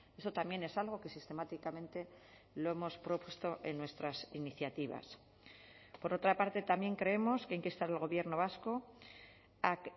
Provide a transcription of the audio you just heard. eso también es algo que sistemáticamente lo hemos propuesto en nuestras iniciativas por otra parte también creemos que hay que instar al gobierno vasco a